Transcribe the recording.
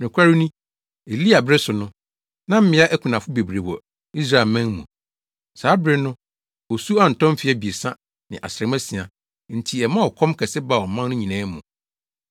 Nokware ni, Elia bere so no, na mmea akunafo bebree wɔ Israelman mu. Saa bere no osu antɔ mfe abiɛsa ne asram asia enti ɛmaa ɔkɔm kɛse baa ɔman no nyinaa mu.